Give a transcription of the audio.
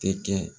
Tɛ kɛ